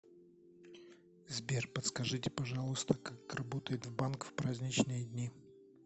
сбер подскажите пожалуйста как работает банк в праздничные дни